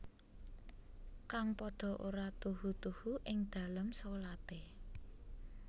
Kang padha ora tuhu tuhu ing dalem sholate